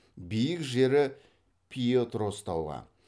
биік жері пьетрос тауы